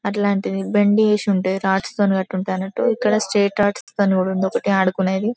అట్లాంటిది బండి చేసి ఉంటది. రాతితోని కట్టి ఉంటాడన్నట్టు. ఇక్కడ ఆదుకునేది.